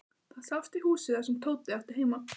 Það sást í húsið þar sem Tóti átti heima.